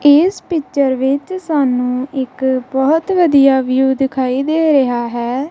ਇਸ ਪਿਚਰ ਵਿੱਚ ਸਾਨੂੰ ਇੱਕ ਬਹੁਤ ਵਧੀਆ ਵਿਊ ਦਿਖਾਈ ਦੇ ਰਿਹਾ ਹੈ।